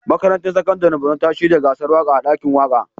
Makarantar Sakandaren Borno ta shirya gasar waƙa a ɗakin waƙa.